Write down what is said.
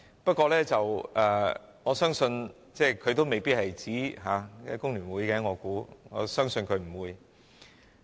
不過，我相信他也未必是指工聯會，亦相信他不會。